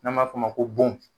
Ne b'a f'o ma ko bon